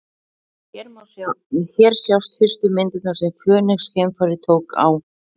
Hér sjást fyrstu myndirnar sem Fönix-geimfarið tók á Mars.